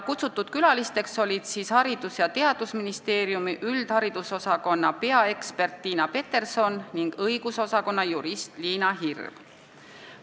Kutsutud külalised olid Haridus- ja Teadusministeeriumi üldharidusosakonna peaekspert Tiina Peterson ning õigusosakonna jurist Liina Hirv.